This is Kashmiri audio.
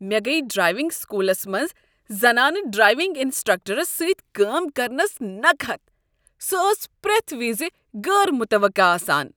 مےٚ گٔیہ ڈرٛایونگ سکولس منٛز زنانہٕ ڈرایونٛگ انسٹرکٹرس سۭتۍ کٲم کرنس نكہت۔ سۄ ٲس پرٛیتھ وز غٲر مُتوقہٕ آسان۔